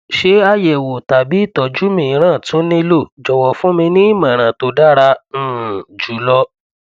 ṣé àyẹwò tàbí ìtọjú mìíràn tún nílò jọwọ fún mi ní ìmọràn tó dára um jù lọ